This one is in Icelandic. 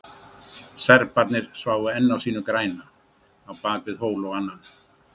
Serbarnir sváfu enn á sínu græna, á bakvið hól og annan.